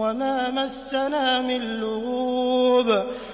وَمَا مَسَّنَا مِن لُّغُوبٍ